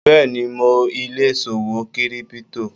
Bẹ́ẹ̀ni, mo ilè ṣòwò kírípútò.